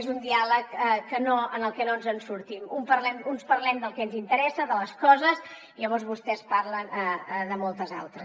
és un diàleg en el que no ens en sortim uns parlem del que ens interessa de les coses i llavors vostès parlen de moltes altres